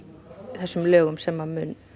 þessum lögum sem mun